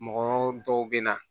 Mɔgɔ dɔw bɛ na